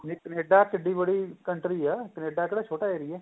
Canada ਕਿਡੀ ਬੜੀ country ਏ Canada ਕਿਹੜਾ ਛੋਟਾ area